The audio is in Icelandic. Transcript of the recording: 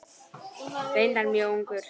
Reyndar mjög ungur.